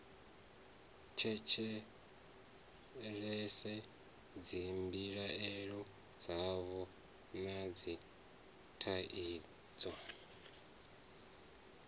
tshetshelese dzimbilaelo dzavho na dzithaidzo